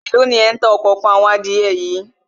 Èló ni ẹ̀ ń ta òkòókan àwọn adìẹ yìí